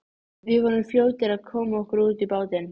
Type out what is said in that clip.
Skyndilega fann hann fyrir stressi og andardráttur hans varð örari.